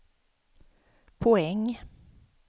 poäng